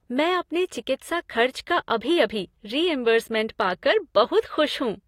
मैं अपने चिकित्सा खर्च का अभी अभी रीइंबर्समेंट पा कर बहुत खुश हूँ।